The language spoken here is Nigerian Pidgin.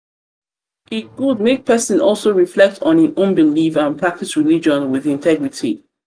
e good make person also reflect on im own beliefs and practice religion with integrity